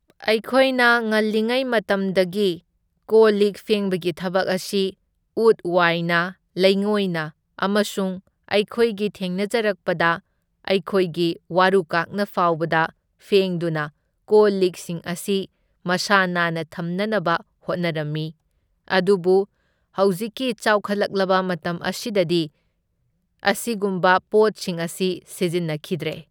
ꯑꯩꯈꯣꯏꯅ ꯉꯜꯂꯤꯉꯩ ꯃꯇꯝꯗꯒꯤ ꯀꯣꯜ ꯂꯤꯛ ꯐꯦꯡꯕꯒꯤ ꯊꯕꯛ ꯑꯁꯤ ꯎꯠ ꯋꯥꯏꯅ ꯂꯩꯉꯣꯏꯅ ꯑꯃꯁꯨꯡ ꯑꯩꯈꯣꯏꯒꯤ ꯊꯦꯡꯅꯖꯔꯛꯄꯗ ꯑꯩꯈꯣꯏꯒꯤ ꯋꯥꯔꯨꯀꯥꯛꯅ ꯐꯥꯎꯕꯗ ꯐꯦꯡꯗꯨꯅ ꯀꯣꯜ ꯂꯤꯛꯁꯤꯡ ꯑꯁꯤ ꯃꯁꯥ ꯅꯥꯟꯅ ꯊꯝꯅꯅꯕ ꯍꯣꯠꯅꯔꯝꯃꯤ, ꯑꯗꯨꯕꯨ ꯍꯧꯖꯤꯛꯀꯤ ꯆꯥꯎꯈꯠꯂꯛꯂꯕ ꯃꯇꯝ ꯑꯁꯤꯗꯗꯤ ꯑꯁꯤꯒꯨꯝꯕ ꯄꯣꯠꯁꯤꯡ ꯑꯁꯤ ꯁꯤꯖꯤꯟꯅꯈꯤꯗ꯭ꯔꯦ꯫